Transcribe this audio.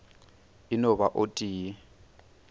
e no ba o tee